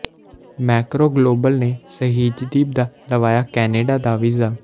Macro Global ਨੇ ਸਹਿਜਦੀਪ ਦਾ ਲਵਾਇਆ ਕੈਨੇਡਾ ਦਾ ਵੀਜ਼ਾ